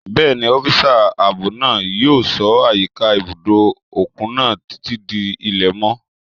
Bẹ́ẹ̀ni, ọ́físà ààbò náà yóò ṣọ́ àyíká ibùdó òkun náà títí di ilẹ̀ mọ́